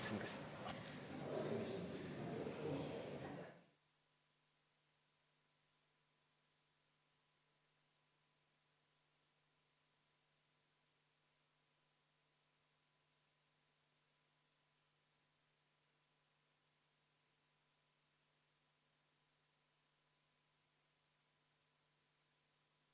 V a h e a e g